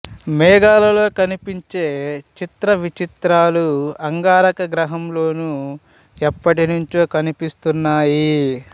మేఘాల్లో కనిపించే చిత్రవిచిత్రాలు అంగారక గ్రహంలోనూ ఎప్పటి నుంచో కనిపిస్తున్నాయి